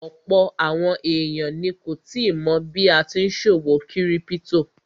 Ọ̀pọ̀ àwọn èèyàn ni kò tíì mọ̀ bí a tí n ṣòwò kírípítò